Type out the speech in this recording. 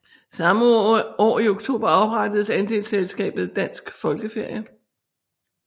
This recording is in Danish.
Samme år i oktober oprettedes andelsselskabet Dansk Folkeferie